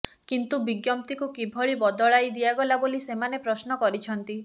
କିନ୍ତୁ ବିଜ୍ଞପ୍ତିକୁ କିଭଳି ବଦଳାଇ ଦିଆଗଲା ବୋଲି ସେମାନେ ପ୍ରଶ୍ନ କରିଛନ୍ତି